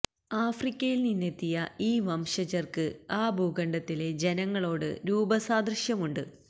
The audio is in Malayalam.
ആഫ്രിക്കയിൽ നിന്നെത്തിയ ഈ വംശജർക്ക് ആ ഭൂഖണ്ഡത്തിലെ ജനങ്ങളോട് രൂപസാദൃശ്യമുണ്ട്